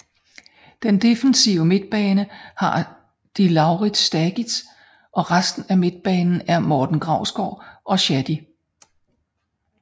Den defensive midtbane har de Laurits Stagis og resten af midtbanen er Morten Grausgaard og Shadi